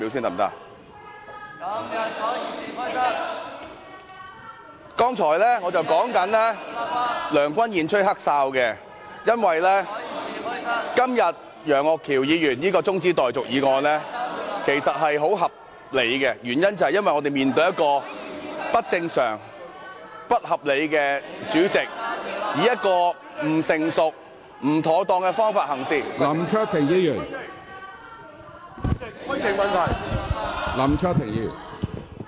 我剛才正在說梁君彥吹"黑哨"，因為今天楊岳橋議員提出的中止待續議案是非常合理的，原因是我們面對一個不正常和不合理的主席，以不成熟和不妥當的方法行事......